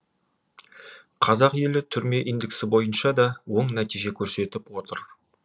қазақ елі түрме индексі бойынша да оң нәтиже көрсетіп отыр